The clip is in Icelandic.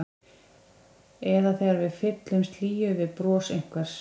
Eða þegar við fyllumst hlýju við bros einhvers.